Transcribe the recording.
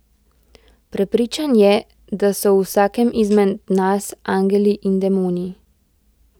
Prepričan je, da so v vsakem izmed nas angeli in demoni.